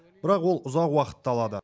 бірақ ол ұзақ уақытты алады